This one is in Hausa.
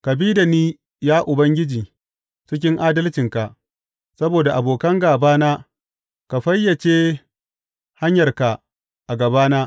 Ka bi da ni, ya Ubangiji, cikin adalcinka saboda abokan gābana, ka fayyace hanyarka a gabana.